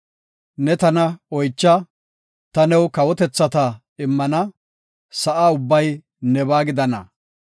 Ne tana oycha; ta new kawotethata immana; sa7a ubbay nebaa gidana.